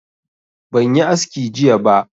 Ban yi aski jiya ba